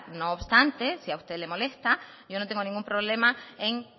no obstante si a usted le molesta yo no tengo ningún problema en